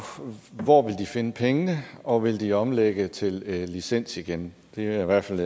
hvor vil de finde pengene og vil de omlægge til licens igen det er i hvert fald